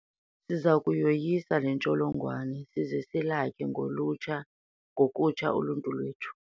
Siza kuyoyisa le ntsholongwane size silakhe ngokutsha uluntu lwethu.